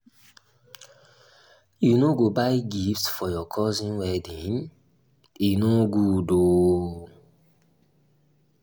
you no buy gift for your cousin wedding? e no good oo